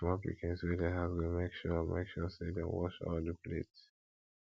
di small pikins wey dey house go mek sure mek sure say dem wash all di plates